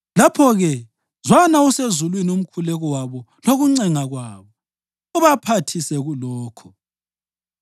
lapho-ke zwana usezulwini umkhuleko wabo lokuncenga kwabo, ubaphathise kulokho.